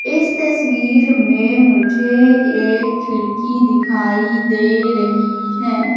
इस तस्वीर में मुझे एक खिड़की दिखाई दे रही है।